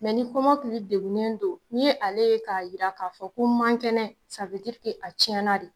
Mɛ ni kɔmɔkili degunnen don ni ale ye k'a yira k'a fɔ ko n man kɛnɛ sa we dirike a cɛna de